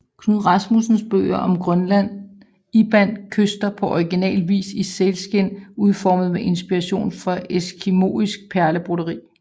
Knud Rasmussens bøger om Grønland indbandt Kyster på original vis i sælskind udformet med inspiration fra eskimoisk perlebroderi